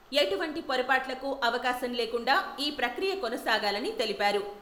ఎటువంటి పొరపాట్లకు అవకాశం లేకుండా ఈ ప్రక్రియ కొనసాగాలని తెలిపారు.